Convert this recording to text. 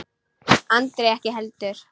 Andri ekki heldur.